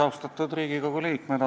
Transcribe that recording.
Austatud Riigikogu liikmed!